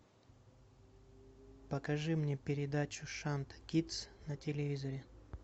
покажи мне передачу шант кидс на телевизоре